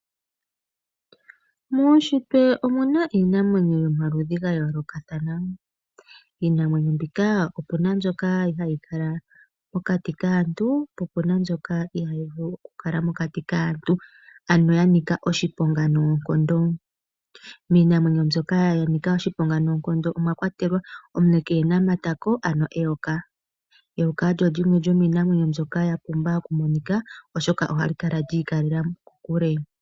Muunshitwe omu na iinamwenyo yomaludhi ga yoolokathana. Iinamwenyo mbika opu na mbyoka hayi kala pokati kaantu po opu na mbyoka ihaa yi vulu oku kala mokati kaantu. Ano ya nika oshiponga noonkondo. Miinamwenyo mbyoka ya nika oshiponga noonkondo omwa kwatelwa omule keena matako, ano eyoka. Eyoka olyo lyimwe lyomiinamweenyo mbyoka ya pumba okumonika oshoka ohali kala li i kalela kokule.